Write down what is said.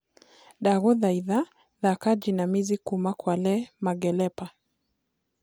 ndagũthaĩtha thaka jinamizi kũma kwa le mangelepa